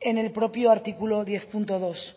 en el propio artículo diez punto dos